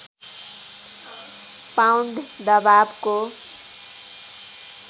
pound दबावको